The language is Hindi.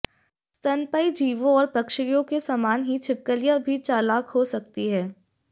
स्तनपायी जीवों और पक्षियों के समान ही छिपकलियां भी चालाक हो सकती हैं